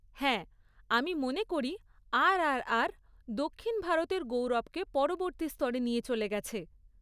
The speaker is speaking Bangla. হ্যাঁ, আমি মনে করি আরআরআর দক্ষিণ ভারতের গৌরবকে পরবর্তী স্তরে নিয়ে চলে গেছে।